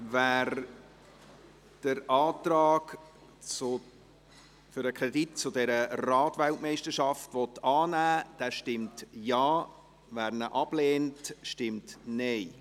Wer den Antrag für den Kredit für diese Rad-WM annehmen will, stimmt Ja, wer dies ablehnt, stimmt Nein.